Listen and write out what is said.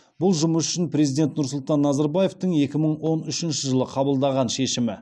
бұл жұмыс үшін президент нұрсұлтан назарбаевтың екі мың он үшінші жылы қабылдаған шешімі